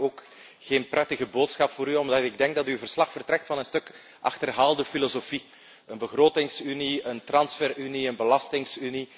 Helaas heb ik ook geen prettige boodschap voor u, omdat ik denk dat uw verslag uitgaat van een stuk achterhaalde filosofie een begrotingsunie, een transferunie, een belastingunie.